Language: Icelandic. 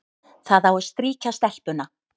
Það á að strýkja stelpuna,